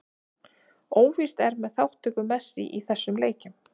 Óvíst er með þátttöku Messi í þessum leikjum.